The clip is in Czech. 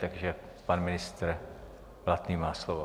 Takže pan ministr Blatný má slovo.